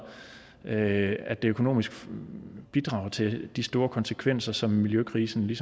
at at det økonomisk bidrager til de store konsekvenser som miljøkrisen